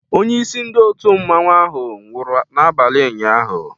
Onye isi ndị otu mmanwu ahụ nwụrụ n'abalị ụnyaahụ